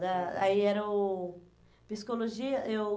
ah, aí era o... Psicologia, eu...